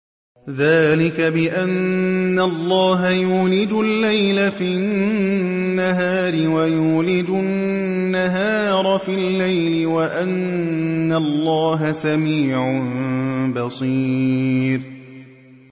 ذَٰلِكَ بِأَنَّ اللَّهَ يُولِجُ اللَّيْلَ فِي النَّهَارِ وَيُولِجُ النَّهَارَ فِي اللَّيْلِ وَأَنَّ اللَّهَ سَمِيعٌ بَصِيرٌ